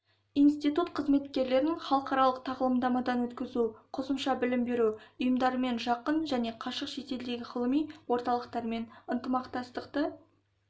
институт қызметкерлерін халықаралық тағылымдамадан өткізу қосымша білім беру ұйымдарымен жақын және қашық шетелдегі ғылыми орталықтармен ынтымақтастықты